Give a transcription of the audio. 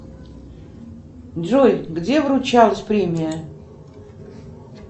джой где вручалась премия